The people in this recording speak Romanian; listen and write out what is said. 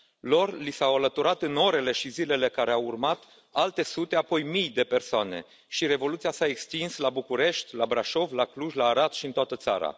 Lor li s au alăturat în orele și zilele care au urmat alte sute, apoi mii, de persoane și revoluția s a extins la București, la Brașov, la Cluj, la Arad și în toată țara.